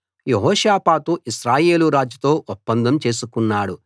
యెహోషాపాతు ఇశ్రాయేలు రాజుతో ఒప్పందం చేసుకున్నాడు